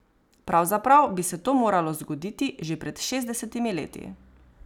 Pravzaprav bi se to moralo zgoditi že pred šestdesetimi leti.